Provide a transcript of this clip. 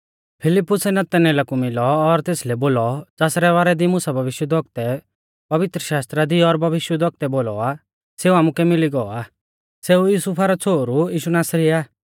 फिलिप्पुस नतनएला कु मिलौ और तेसलै बोलौ ज़ासरै बारै दी मुसा भविष्यवक्तुऐ पवित्रशास्त्रा दी और भविष्यवक्तुऐ बोलौ आ सेऊ आमुकै मिली गौ आ सेऊ युसुफा रौ छ़ोहरु यीशु नासरी आ